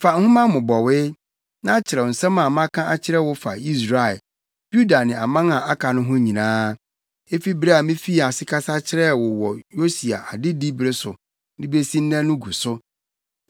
“Fa nhoma mmobɔwee, na kyerɛw nsɛm a maka akyerɛ wo fa Israel, Yuda ne aman a aka no ho nyinaa, efi bere a mifii ase kasa kyerɛɛ wo wɔ Yosia adedi bere so de besi nnɛ no gu so.